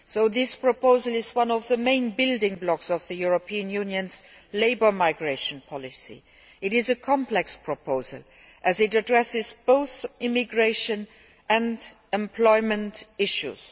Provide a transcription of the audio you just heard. This proposal is one of the main building blocks of the European Union's labour migration policy. It is a complex proposal as it addresses both immigration and employment issues.